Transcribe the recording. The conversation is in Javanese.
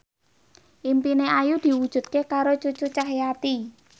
impine Ayu diwujudke karo Cucu Cahyati